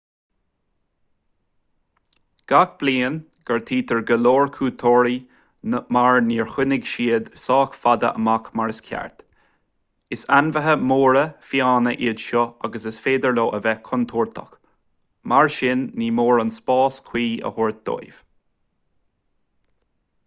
gach bliain gortaítear go leor cuairteoirí mar níor choinnigh siad sách fada amach mar is ceart is ainmhithe móra fiáine iad seo agus is féidir leo a bheith contúirteach mar sin ní mór a spás cuí a thabhairt dóibh